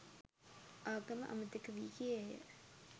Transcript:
ආගම අමතක වී ගියේය